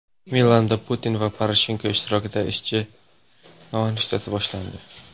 Milanda Putin va Poroshenko ishtirokida ishchi nonushtasi boshlandi.